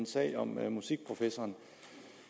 sagen om musikprofessoren